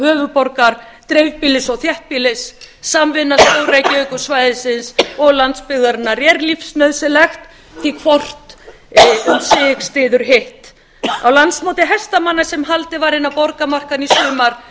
höfuðborgar dreifbýlis og þéttbýlis samvinna stór reykjavíkursvæðisins og landsbyggðarinnar er lífsnauðsynleg því að hvort um sig styður hitt á landsmóti hestamanna sem haldið var innan borgarmarkanna í sumar